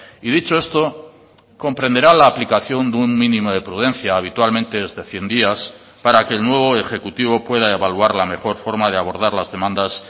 y dicho esto comprenderá la aplicación de un mínimo de prudencia habitualmente es de cien días para que el nuevo ejecutivo pueda evaluar la mejor forma de abordar las demandas